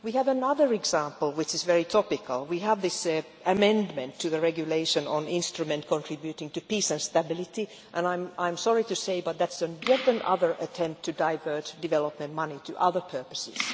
We have another example which is very topical we have this amendment to the Regulation on the Instrument contributing to Peace and Stability, and I am sorry to say it but this is yet another attempt to divert development money to other purposes.